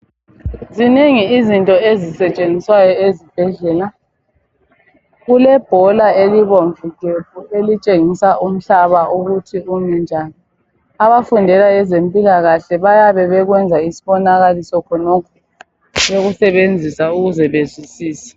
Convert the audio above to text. Zinengi izinto ezisetshenziswa ezibhedlela. Kulebhola elibomvu gebhu elitshengisa ukuthi umhlaba umi njani. Abafundela ezempilakahle bayabe bekwenza isibonakaliso khonokhu bekusebenzisa ukuze bezwisise.